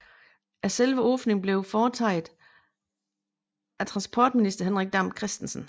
Selve åbningen blev foretaget af transportminister Henrik Dam Kristensen